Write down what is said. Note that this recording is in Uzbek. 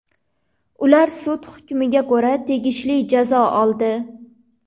Ular sud hukmiga ko‘ra tegishli jazo oldi.